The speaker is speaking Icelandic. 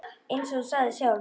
Eins og þú sagðir sjálf.